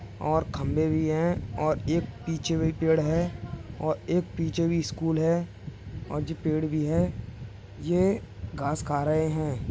और खंबे भी हैं और एक पीछे भी पेड़ है और एक पीछे भी स्कूल है और जे पेड़ भी है | ये घास खा रहे हैं |